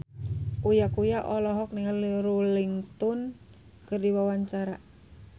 Uya Kuya olohok ningali Rolling Stone keur diwawancara